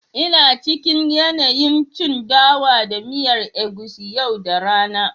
ina cikin yanayin cin dawa da miyar egusi yau da rana